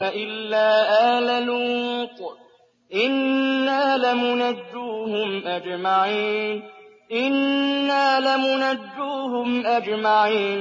إِلَّا آلَ لُوطٍ إِنَّا لَمُنَجُّوهُمْ أَجْمَعِينَ